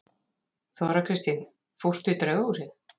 Þóra Kristín: Fórstu í draugahúsið?